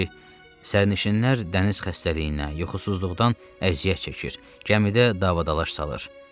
Bir də ki, sərnişinlər dəniz xəstəliyinə, yuxusuzluqdan əziyyət çəkir, gəmidə davadalaş salır.